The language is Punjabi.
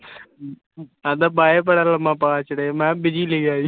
ਕਹਿੰਦਾ ਮੈਂ busy ਲਿਖਿਆ ਸੀ